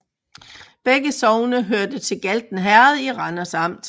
Begge sogne hørte til Galten Herred i Randers Amt